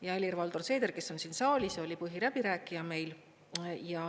Ja Helir-Valdor Seeder, kes on siin saalis, oli põhiläbirääkija meil.